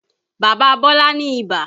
Bàbá Bọ́lá ni ìbà